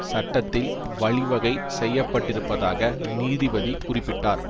சட்டத்தில் வழி வகை செய்யப்பட்டிருப்பதாக நீதிபதி குறிப்பிட்டார்